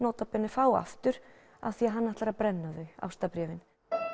fá aftur af því að hann ætlar að brenna þau ástarbréfin